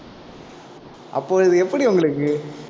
அப்பொழுது எப்படி உங்களுக்கு